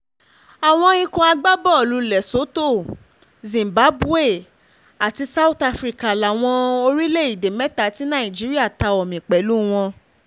àwọn ikọ̀ agbábọ́ọ̀lù lesotho um zimbabwe àti south africa láwọn um orílẹ̀‐èdè mẹ́ta tí nàìjíríà ta omi pẹ̀lú wọn